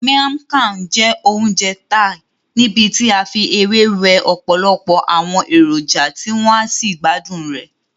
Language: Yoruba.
Miang Kham jẹ́ oúnjẹ Thai níbití a fi ewé we ọ̀pọ̀lọpọ̀ àwọn èròjà tí wọ́n á sí gbádùn rẹ.